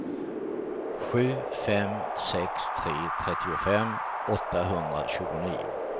sju fem sex tre trettiofem åttahundratjugonio